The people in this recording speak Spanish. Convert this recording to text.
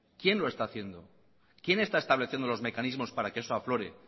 quién lo está haciendo quién está estableciendo los mecanismos para que eso aflore